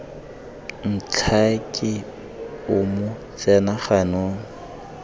ntlhake o mo tsena ganong